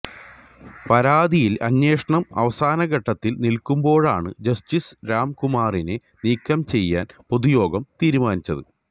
പരാതിയില് അന്വേഷണം അവസാനഘട്ടത്തില് നില്ക്കുമ്പോഴാണ് ജസ്റ്റിസ് രാംകുമാറിനെ നീക്കം ചെയ്യാന് പൊതുയോഗം തീരുമാനിച്ചത്